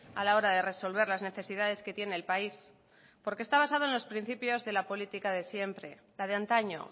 a la hora de resolver las necesidades que tiene el país porque está basado en los principiosde la política de siempre la de antaño